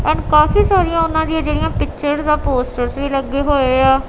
And ਕਾਫੀ ਸਾਰੀਆਂ ਉਹਨਾਂ ਦੀਆਂ ਜਿਹੜੀਆਂ ਪਿਕਚਰਜ਼ ਆਂ ਪੋਸਟਰਸ ਵੀ ਲੱਗੇ ਹੋਏ ਆ।